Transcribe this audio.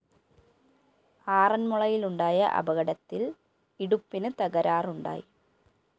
ആറന്‍മുളയിലുണ്ടായ അപകടത്തില്‍ ഇടുപ്പിന് തകരാറുണ്ടായി